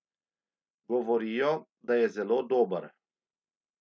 Govorijo, da je zelo dober.